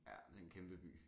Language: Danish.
Ja det en kæmpe by